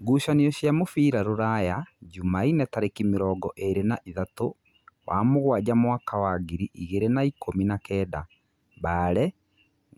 Ngucanio cia mũbira Rūraya Jumaine tarĩki mĩrongo ĩrĩ na ĩthatu wa mũgwanja mwaka wa ngiri igĩrĩ na-ikũmi na-kenda: Mbale,